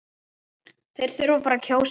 Þeir þurfa bara að kjósa